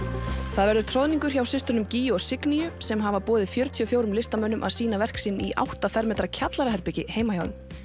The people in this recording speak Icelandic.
það verður troðningur hjá systrunum gígju og Signýju sem hafa boðið fjörutíu og fjórum listamönnum að sína verk sín í átta fermetra kjallaraherbergi heima hjá þeim